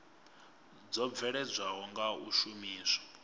dzo bveledzwaho nga u shumiswa